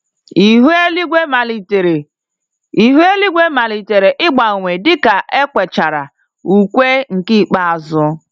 Ihu eluigwe malitere Ihu eluigwe malitere ịgbanwe dịka ekwechara ùkwè nke ikpeazụ